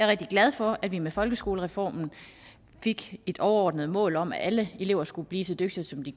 rigtig glad for at vi med folkeskolereformen fik et overordnet mål om at alle elever skal blive så dygtige som de